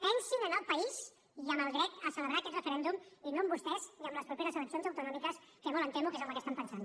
pensin en el país i en el dret a celebrar aquest referèndum i no en vostès i en les properes eleccions autonòmiques que molt em temo que és en el que estan pensant